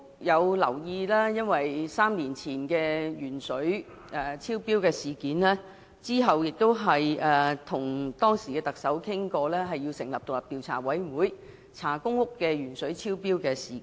由於3年前的鉛水超標事件，我當時亦曾要求特首成立調查委員會，調查公屋鉛水超標事件。